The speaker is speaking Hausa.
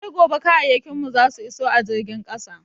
Sai gobe kayan mu zasu iso a jirgin ƙasa.